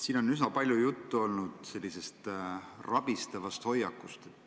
Siin on üsna palju olnud juttu sellisest rabistavast hoiakust.